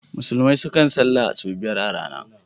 Musulmai suna salah sau biyar a rana.